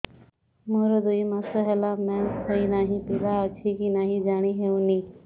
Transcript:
ମୋର ଦୁଇ ମାସ ହେଲା ମେନ୍ସେସ ହୋଇ ନାହିଁ ପିଲା ଅଛି କି ନାହିଁ ଜାଣି ହେଉନି